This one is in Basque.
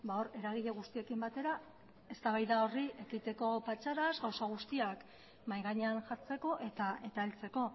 hor eragile guztiekin batera eztabaida horri ekiteko patxadaz gauza guztiak mahai gainean jartzeko eta heltzeko